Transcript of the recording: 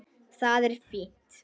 Það er fínt.